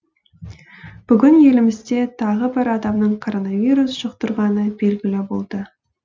бүгін елімізде тағы бір адамның коронавирус жұқтырғаны белгілі болды